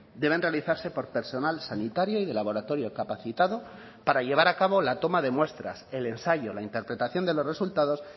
deben realizarse por personal sanitario y de laboratorio capacitado para llevar a cabo la toma de muestras el ensayo la interpretación de los resultados